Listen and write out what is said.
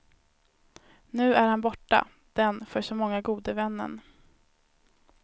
Nu är han borta, den, för så många, gode vännen.